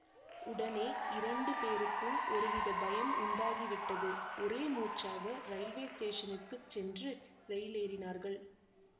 உடனே இரண்டு பேருக்கும் ஒருவித பயம் உண்டாகிவிட்டது ஒரே மூச்சாக ரயில்வே ஸ்டேஷனுக்குச் சென்று ரயிலேறினார்கள்